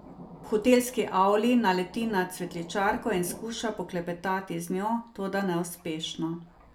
V hotelski avli naleti na cvetličarko in skuša poklepetati z njo, toda neuspešno.